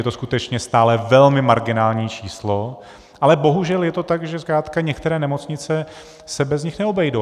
Je to skutečně stále velmi marginální číslo, ale bohužel je to tak, že zkrátka některé nemocnice se bez nich neobejdou.